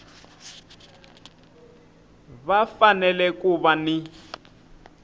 va fanele ku va ni